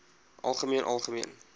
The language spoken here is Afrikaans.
algemeen algemeen